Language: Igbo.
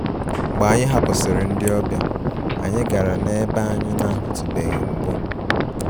Mgbe anyị hapụsịrị ndị ọbịa, anyị gara n'ebe anyị na-ahụtụbeghị mbụ